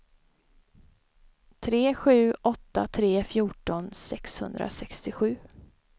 tre sju åtta tre fjorton sexhundrasextiosju